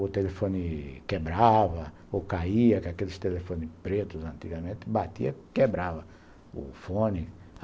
o telefone quebrava ou caía, porque aqueles telefones pretos antigamente batiam e quebravam o fone.